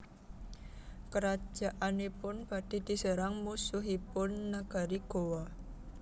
Kerajaanipun badhe diserang musuhipun nagari Gowa